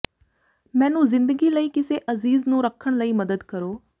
ਮੈਨੂੰ ਜ਼ਿੰਦਗੀ ਲਈ ਕਿਸੇ ਅਜ਼ੀਜ਼ ਨੂੰ ਰੱਖਣ ਲਈ ਮਦਦ ਕਰੋ